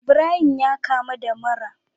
Ibrahim yakamu da mura